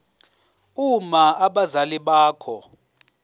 uma abazali bakho